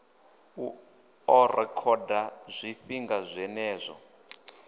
u ḓo rekhoda zwifhinga zwenezwo